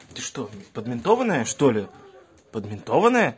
ты что блядь подментованная что ли подментованная